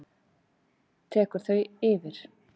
tekur þau yfir?